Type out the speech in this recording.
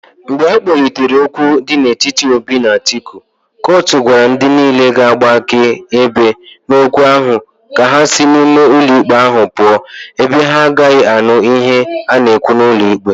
Mgbe akpolitere okwu di n'etiti Obi na Atiku, kotuma gwara ndi niile ga-agba akaebe n'okwu ahu ka ha si n'ime ulo ikpe ahu puo ebe ha agagi anu ihe a na-ekwu n'ulo ikpe ahu.